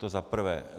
To za prvé.